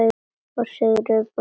Og Sigurð bróður þinn!